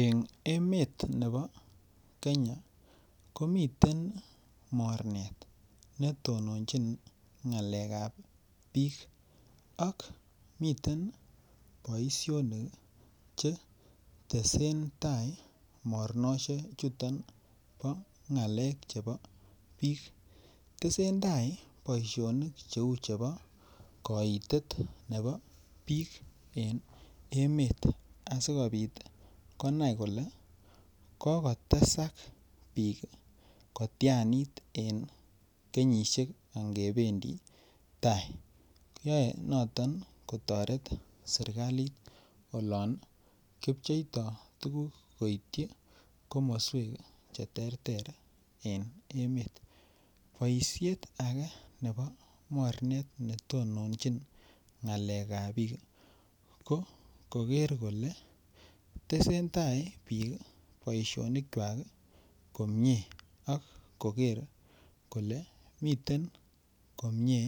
En emet nebo Kenya ko miten miten mornet ne teleljin ngalekab bik ak miten boisionik Che tesentai mornisiechuton bo ngalek chebo bik tesentai boisionik cheu chebo koitet nebo bik en emet asikobit konai kole ko kotesak bik kotianit en kenyisiek ange bendi tai yoe noton kotoret serkalit oloon kipcheito tuguk koityi komoswek Che terter en emet Boisiet age nebo mornet neteljin ngalekab bik ko kogeer kole tesentai bik boisionikwak komie ak koker kole miten komie